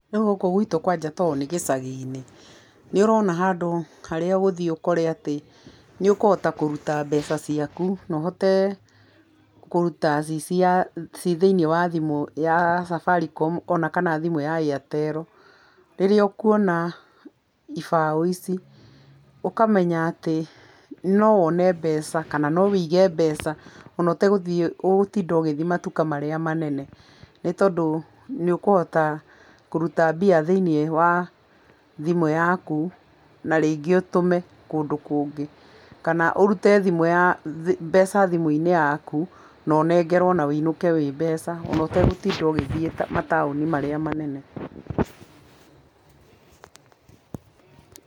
Nogũkũ gwitũ kwanja tondũ nĩ gĩcagi-inĩ, nĩ ũrona handũ harĩa ũgũthiĩ ũkore atĩ, nĩ ũkũhota kũruta mbeca ciakũ, na ũhote kũrũta cicia ci thimũ-inĩ ya safaricom ona kana thimũ ya airtelo, rĩrĩa ũkuona ibaũ ici ũkamenya atĩ, no wone mbeca kana no wũige mbeca, ona ũtagũthiĩ ũgũtinda ũgĩthiĩ matũka marĩa manene, nĩ tondũ nĩ ũkũhota kũruta mbia thĩiniĩ wa thimũ yakũ na rĩngĩ ũtũme kũndũ kũngĩ, kana ũrũte thimũ ya mbeca thimũ-inĩ yakũ na ũnengerwo na wũinũke wĩ mbeca ona ũtagũtinda ũgĩthie matũni marĩa manene.